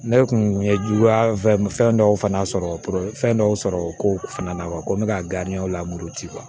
Ne kun ye juguya fɛn dɔw fana sɔrɔ fɛn dɔw sɔrɔ ko fana na ko n bɛ ka lamori ci